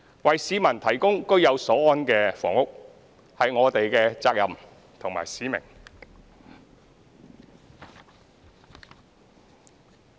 為市民提供居有所安的房屋，是我們的責任和使命。